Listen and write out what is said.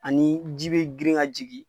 Ani ji bɛ grin ka jigin.